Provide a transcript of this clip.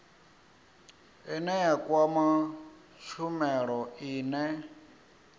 ine ya kwama tshumelo ine